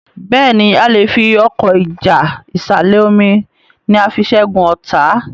Béèni a lẹ fí Ọkọ́ ìjà ìsàlẹ̀-omi ní a fí ṣẹgun ọta.